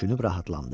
Düşünüb rahatlandı.